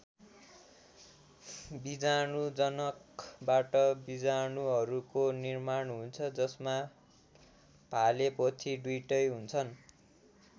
बीजाणुजनकबाट बीजाणुहरूको निर्माण हुन्छ जसमा भाले पोथी दुईटै हुन्छन्।